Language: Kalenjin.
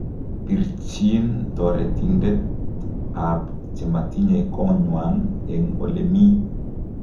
Birchiin toretindet ab chematinye konywan en elemii